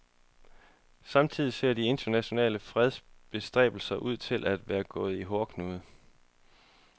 Samtidig ser de internationale fredsbestræbelser ud til at være gået i hårdknude.